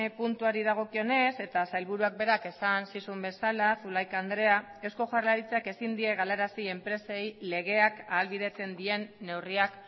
puntuari dagokionez eta sailburuak berak esan zizun bezala zulaika andrea eusko jaurlaritzak ezin die galarazi enpresei legeak ahalbidetzen dien neurriak